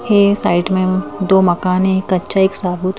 यह साइड में दो मकान है एक कच्चा एक साबूत--